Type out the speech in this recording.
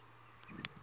a a ta n wi